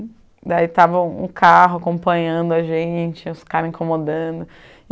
Daí estava um carro acompanhando a gente, os caras incomodando.